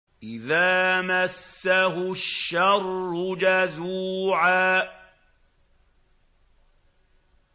إِذَا مَسَّهُ الشَّرُّ جَزُوعًا